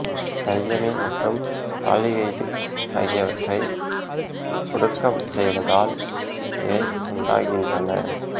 diamine மற்றும் aldehyde ஆகியவற்றை ஒடுக்கம் செய்வதால் இவை உண்டாகின்றன